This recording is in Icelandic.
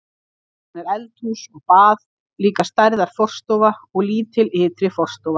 Síðan er eldhús og bað, líka stærðar forstofa og lítil ytri forstofa.